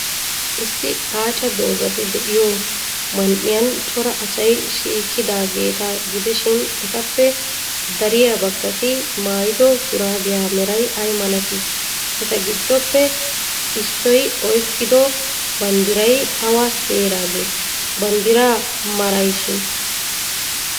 Issi aaca dozati de'iyoo man''iyan cora asay shiiqidaageeta gidishin, etappe dariya baggati maayido shuraabiyaa meray ay malatii? Eta giddoppe issoy oyqqido banddiray awa heeraagee? Banddiraa merayshin?